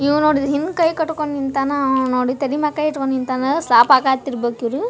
ಇವಾ ನೋಡ್ರಿ ಹೆಂಗ್ ಕೈ ಕಟ್ಕೊಂಡ್ ನಿಂತ್ಯನ ಆವಾ ನೋಡಿದ್ರ್ ತಲೆ ಮ್ಯಾಲ ಕೈ ಅಕೊಂಡ್ ನಿಂತ್ಯನ. ಇರ್ಬೆಕ್ ಇವ್ರು.